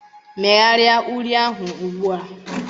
Megharịa uri ahụ ugbu a